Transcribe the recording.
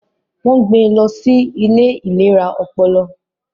Wọ́n gbé lọ sí ilé ìlera ọpọlọ